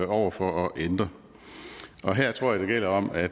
over for at ændre og her tror jeg det gælder om at